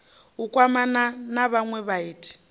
u kwamana na vhanwe vhaiti